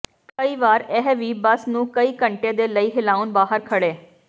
ਕਈ ਵਾਰ ਇਹ ਵੀ ਬੱਸ ਨੂੰ ਕਈ ਘੰਟੇ ਦੇ ਲਈ ਹਿਲਾਉਣ ਬਾਹਰ ਖੜ੍ਹੇ